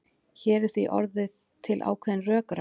Hér er því orðin til ákveðin rökræða.